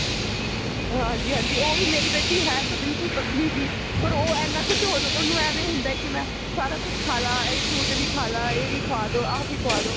ਹਾਂਜੀ ਹਾਂਜੀ ਮੇਰੀ ਬੇਟੀ ਹੈ ਤਾਂ ਬਿਲਕੁਲ ਪਤਲੀ ਜਿਹੀ ਪਰ ਉਹ ਇੰਨਾ ਕ ਉਹਨੂੰ ਇਵੇਂ ਹੁੰਦਾ ਮੈਂ ਸਾਰਾ ਕੁਝ ਖਾ ਲਵਾਂ ਇਹ fruit ਵੀ ਖਾ ਲਵਾਂ ਇਹ ਵੀ ਖਵਾਦੋ ਆਹ ਵੀ ਖਵਾਦੋ